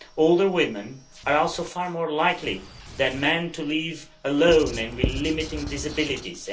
Older women are also far more likely than men to live alone and with limiting disabilities.